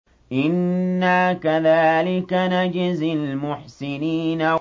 إِنَّا كَذَٰلِكَ نَجْزِي الْمُحْسِنِينَ